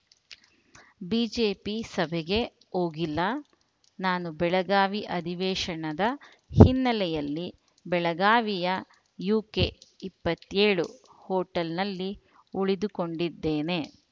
BJP ಸಭೆಗೆ ಹೋಗಿಲ್ಲ ನಾನು ಬೆಳಗಾವಿ ಅಧಿವೇಶನದ ಹಿನ್ನೆಲೆಯಲ್ಲಿ ಬೆಳಗಾವಿಯ ಯುಕೆ ಇಪ್ಪತ್ತೇಳು ಹೋಟೆಲ್‌ನಲ್ಲಿ ಉಳಿದುಕೊಂಡಿದ್ದೇನೆ